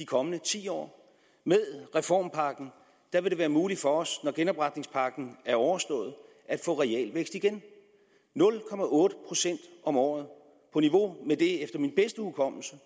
kommende ti år med reformpakken vil det være muligt for os når genopretningspakken er overstået at få realvækst igen nul procent om året på niveau med det som efter min bedste hukommelse